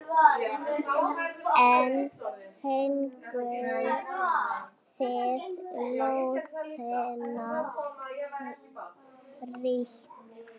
En fenguð þið lóðina frítt?